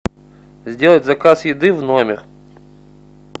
сделать заказ еды в номер